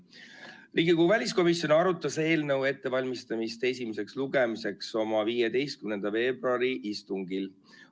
Riigikogu väliskomisjon arutas eelnõu ettevalmistamist esimeseks lugemiseks oma 15. veebruari istungil.